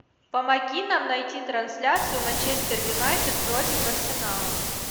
помоги нам найти трансляцию манчестер юнайтед против арсенала